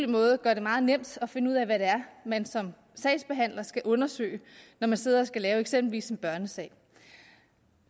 måde gør det meget nemt at finde ud af hvad det er man som sagsbehandler skal undersøge når man sidder og skal lave eksempelvis en børnesag